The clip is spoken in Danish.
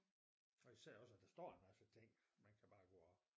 Og især også at der står en masse ting man kan bare gå og